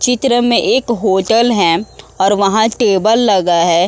चित्र में एक होटल हैं और वहाँ टेबल लगा है।